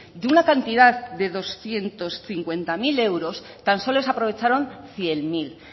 de una cantidad de doscientos cincuenta mil euros tan solo desaprovecharon cien mil